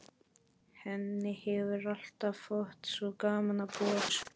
Henni hefur alltaf þótt svo gaman að búa til sögur.